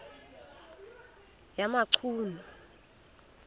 yamachunu